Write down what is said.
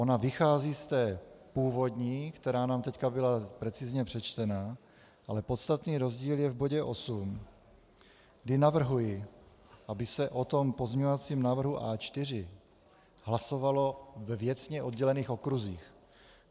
Ona vychází z té původní, která nám teď byla precizně přečtená, ale podstatný rozdíl je v bodě 8, kdy navrhuji, aby se o pozměňovacím návrhu A4 hlasovalo ve věcně oddělených okruzích.